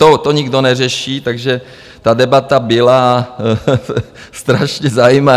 To nikdo neřeší, takže ta debata byla strašně zajímavá.